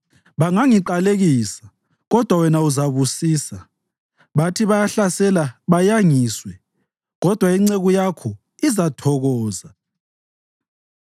Bangangiqalekisa, kodwa wena uzabusisa; bathi bayahlasela bayangiswe, kodwa inceku yakho izathokoza.